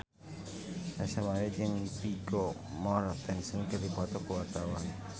Ersa Mayori jeung Vigo Mortensen keur dipoto ku wartawan